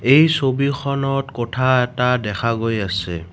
এই ছবিখনত কোঠা এটা দেখা গৈ আছে।